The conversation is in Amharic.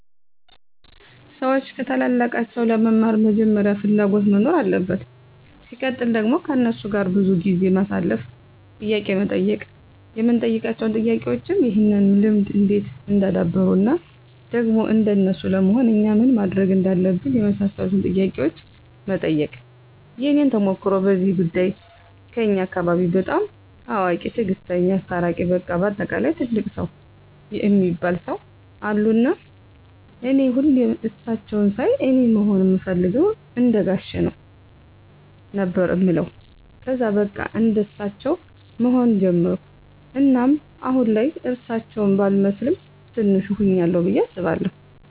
ሰዎች ከታላላቃቸው ለመማር መጀመሪያ ፍላጎት መኖር አለበት ሲቀጥል ደግሞ ከነሱ ጋር ብዙ ጊዜ ማሳለፍ፣ ጥያቄ መጠየቅ የምንጠይቃቸው ጥያቄዎችም ይህን ልምድ እንዴት እንዳደበሩት እና ደግሞ እንደነሱ ለመሆን እኛ ምን ማድረግ እንዳለብን የመሳሰሉትን ጥያቄዎች መጠየቅ። የኔን ተሞክሮ በዚህ ጉዳይ ከኛ አካባቢ በጣም አዋቂ፣ ትግስተኛ፣ አስታራቂ በቃ በአጠቃላይ ትልቅ ሰው እሚባሉ ሰው አሉ እና እኔ ሁሌም እሳቸውን ሳይ አኔ መሆን እምፈልገው እንደጋሼ ነው ነበር እምለው ከዛ በቃ እንደሳቸው መሆን ጀመርኩ እናም አሁን ላይ እርሳቸው ባልመስልም በቲንሹ ሁኛለሁ ብዬ አስባለሁ።